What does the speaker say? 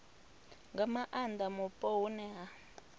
nga maanda mupo hune ha